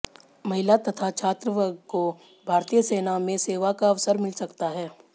महिला तथा छात्रवर्ग को भारतीय सेना में सेवा का अवसर मिल सकता है